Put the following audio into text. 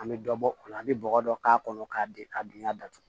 An bɛ dɔ bɔ o la an bɛ bɔgɔ dɔ k'a kɔnɔ k'a di a dunya datugu